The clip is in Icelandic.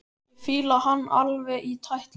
Ég fíla hann alveg í tætlur!